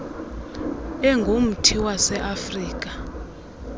engumthi wase afirika